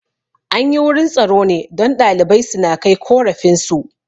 Anyi wurin tsaro ne don ɗalibai suna kai korafin su